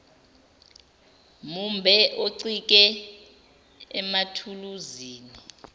mumbe oncike emathuluzini